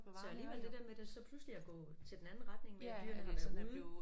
Så alligevel det der med der så pludselig er gået til den anden retning med dyrene har været ude